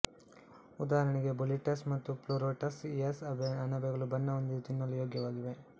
ಉದಾಹರಣಗೆ boletus ಮತ್ತು pleurotus ಇಯಸ್ ಅಣಬೆಗಳು ಬಣ್ಣ ಹೊಂದಿದ್ದು ತಿನ್ನಲು ಯೋಗ್ಯವಾಗಿವೆ